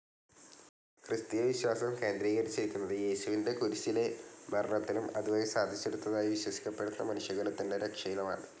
Christian വിശ്വാസം കേന്ദ്രീകരിച്ചിരിക്കുന്നത്‌ യേശുവിന്റെ കുരിശിലെ മരണത്തിലും അതുവഴി സാധിച്ചെടുത്തതായി വിശ്വസിക്കപ്പെടുന്ന മനുഷ്യകുലത്തിന്റെ രക്ഷയിലുമാണ്.